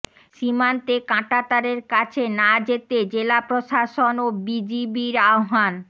সীমান্তে কাঁটাতারের কাছে না যেতে জেলা প্রশাসন ও বিজিবির আহ্বান